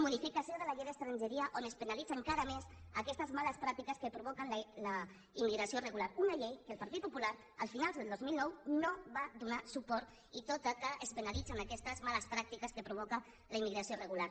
modificació de la llei d’estrangeria on es penalitza encara més aquestes males pràctiques que provoquen la immigració regular una llei a la qual el partit po·pular a finals del dos mil nou no va donar suport tot i que es penalitzen aquestes males pràctiques que provoca la immigració regular